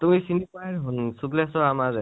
তুমি চিনি পুৱায়ে দেখুন শুক্লেস্বৰ, আমাৰ যে